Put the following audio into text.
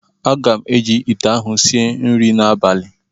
Aga m eji ite ahụ sie nri n'abalị